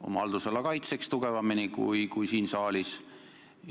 oma haldusala kaitseks tugevamini sõna kui siin saalis?